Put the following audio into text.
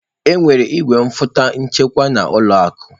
Enwere igwefọtọ nchekwa na ụlọ akụ.